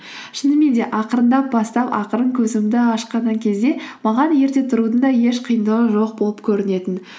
шынымен де ақырындап бастап ақырын көзімді ашқан кезде маған ерте тұрудың да еш қиындығы жоқ болып көрінетін